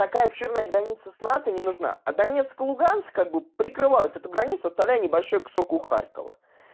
какая обширной граница с натой не нужна а донецк и луганск как бы прикрывают эту границу оставляя небольшой кусок у харькова